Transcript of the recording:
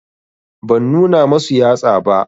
Ban nuna masu yatsa ba